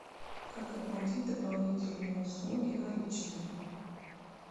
как оплатить дополнительные услуги наличными